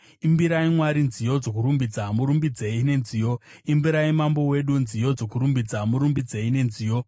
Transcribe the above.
Imbirai Mwari nziyo dzokurumbidza, murumbidzei nenziyo. Imbirai Mambo wedu nziyo dzokurumbidza, murumbidzei nenziyo.